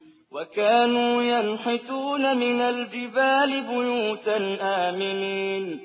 وَكَانُوا يَنْحِتُونَ مِنَ الْجِبَالِ بُيُوتًا آمِنِينَ